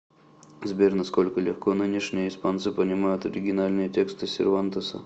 сбер насколько легко нынешние испанцы понимают оригинальные тексты сервантеса